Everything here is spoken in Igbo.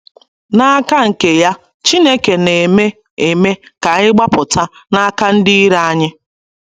N’aka nke ya, Chineke ‘ na - eme eme ka anyị gbapụta ’ n’aka ndị iro anyị.